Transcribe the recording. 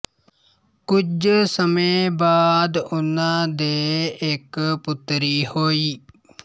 ਕੁੱਝ ਸਮੇ ਬਾਅਦ ਉਨਾ ਦੇ ਇੱਕ ਪੁੱਤਰੀ ਹੋਈ